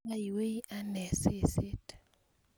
aywei anee seset